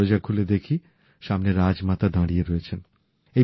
দরজা খুলে দেখি সামনে রাজমাতা দাঁড়িয়ে রয়েছেন